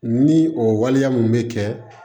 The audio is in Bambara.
Ni o waleya mun bɛ kɛ